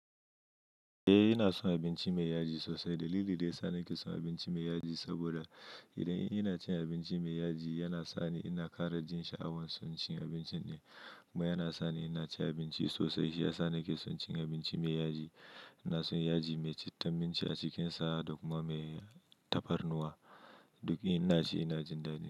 Eh, ina son abinci mai yaji sosai. Dalili da ya sa nake son abinci mai yaji, saboda idan ina cin abinci mai yaji, yana sa ni ina ƙara jin sha'awan son cin abincin ɗin, kuma yana sa ni ina cin abinci sosai. Shi ya sa nake son cin abinci mai yaji. Ina son yaji mai citta minci a cikinsa, da kuma mai tafarnuwa. Duk ina ci ina jin dadi.